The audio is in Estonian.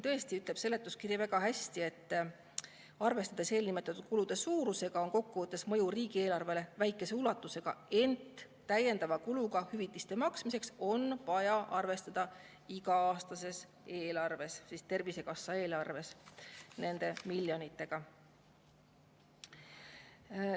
Tõesti ütleb seletuskiri väga hästi, et arvestades eelnimetatud kulude suurusega, on kokkuvõttes mõju riigieelarvele väikese ulatusega, ent täiendava kuluga hüvitiste maksmiseks on vaja arvestada iga-aastases eelarves, Tervisekassa eelarves, see tähendab nende miljonitega.